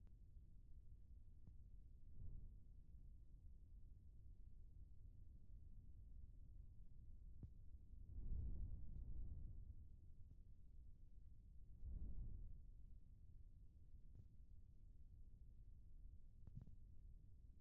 Maata mala sohuwan dumma dumma qommo cora uppuppati pugettidi issippe qasheti uttiddossona. Guyeera mitaa bonchchoykka bettees, bootta xuufeekka ha sohuwan beettees.